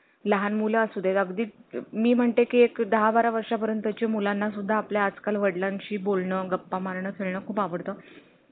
काहीच करत नाही का तुम्ही